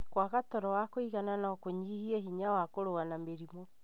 Kwaga toro wa kũigana no kũnyihie hinya wa kũrũa na mĩrimũ.